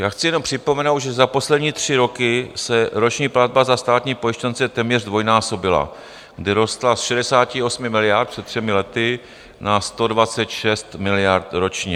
Já chci jenom připomenout, že za poslední tři roky se roční platba za státní pojištěnce téměř zdvojnásobila, kdy rostla z 68 miliard před třemi lety na 126 miliard ročně.